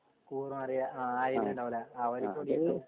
കൂർ മാറിയ ആയിട്ട് ഇണ്ടാവും ല്ലേ അവര് കുടിട്ടും